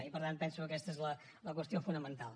i per tant penso que aquesta és la qüestió fonamental